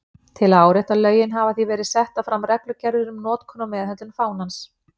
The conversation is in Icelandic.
Til að árétta lögin hafa því verið settar fram reglugerðir um notkun og meðhöndlun fánans.